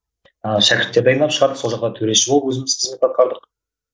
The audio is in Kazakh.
а шәкірттер дайындап шығардық сол жақта төреші болып өзіміз қызмет атқардық